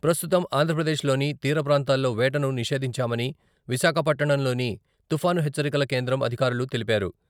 ప్రస్తుతం ఆంధ్రప్రదేశ్ లోని తీరప్రాంతాల్లో వేటను నిషేధించామని విశాఖపట్టణంలోని తుఫాను హెచ్చరికల కేంద్రం అధికారులు తెలిపారు.